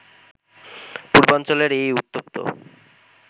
পূর্বাঞ্চলের এই উত্তপ্ত